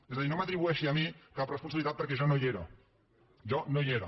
és a dir no m’atribueixi a mi cap responsabilitat perquè jo no hi era jo no hi era